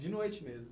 De noite mesmo?